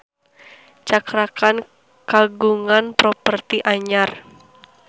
Cakra Khan kagungan properti anyar